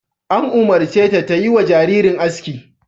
An umurce ta ta yi wa jaririn aski!